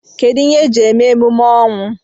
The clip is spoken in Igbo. Kedụ ihe eji eme emume ọnwụ?